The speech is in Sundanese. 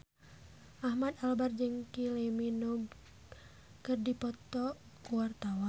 Ahmad Albar jeung Kylie Minogue keur dipoto ku wartawan